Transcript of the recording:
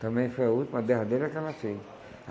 Também foi a última, a derradeira que ela fez.